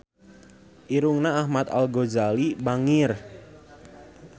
Irungna Ahmad Al-Ghazali bangir